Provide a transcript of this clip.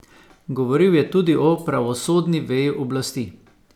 Govoril je tudi o pravosodni veji oblasti.